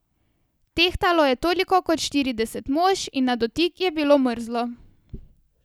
Tehtalo je toliko kot štirideset mož in na dotik je bilo mrzlo.